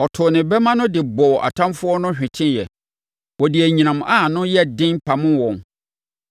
Ɔtoo ne bɛmma no de bɔɔ atamfoɔ no hweteeɛ, ɔde anyinam a ano yɛn den pamoo wɔn.